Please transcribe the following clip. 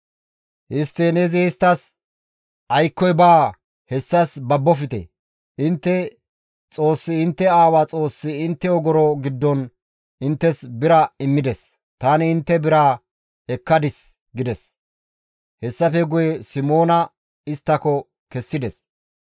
Histtiin izi isttas, «Aykkoy baa hessas babofte! Intte Xoossi intte aawa Xoossi intte ogoro giddon inttes bira immides; tani intte biraa ekkadis» gides. Hessafe guye Simoona isttako kessides.